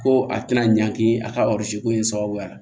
Ko a tɛna ɲangi a ka ko in sababuya la